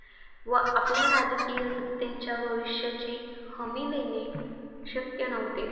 व आपल्या राजकीय शक्तींच्या भविष्याची हमी देणे शक्य नव्हते.